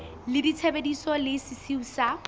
la ditshebeletso le sesiu sa